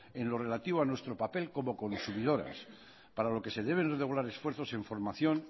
en lo relativo a nuestro papel como consumidores para lo que se deben regular esfuerzos en formación